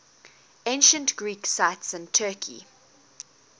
ancient greek sites in turkey